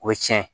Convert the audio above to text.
O ye tiɲɛ ye